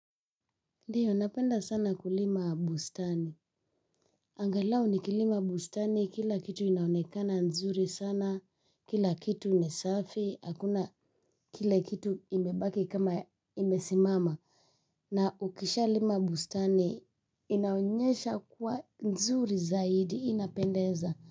Ndiyo, napenda sana kulima bustani. Angalau nikilima bustani, kila kitu inaonekana nzuri sana, kila kitu ni safi, hakuna kile kitu imebaki kama imesimama. Na ukishalima bustani inaonyesha kuwa nzuri zaidi inapendeza.